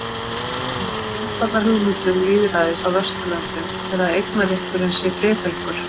Ein af grundvallarhugmyndum lýðræðis á Vesturlöndum er að eignarrétturinn sé friðhelgur.